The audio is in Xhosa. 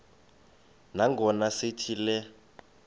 nangona sithi le